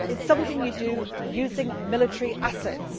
It is something you do using military assets.